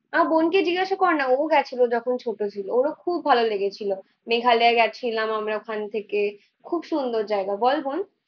আমার বোনকে জিজ্ঞাসা করনা ওউ গেছিলো যখন ছোট ছিল, ওর ও খুব ভালো লেগেছিলো। মেঘালয় গেছিলাম আমরা ওখান থেকে। খুব সুন্দর জায়গা বল বোন?